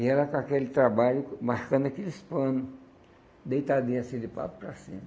E ela com aquele trabalho, marcando aqueles pano, deitadinha assim de papo para cima.